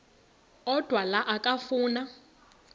odwa la okafuna